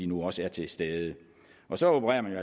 nu også er til stede og så opererer man